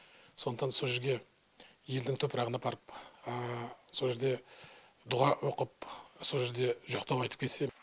сондықтан сол жерге елдің топырағын апарып со жерде дұға оқып со жерде жоқтау айтып келсе